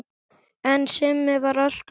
En Simmi var alltaf eins.